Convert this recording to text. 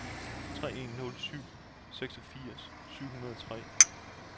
tre en nul syv seksogfirs syv hundrede og tre